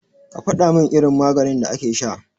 Ka faɗamin irin maganin da ake sha.